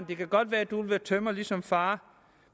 kan godt være du vil være tømrer ligesom far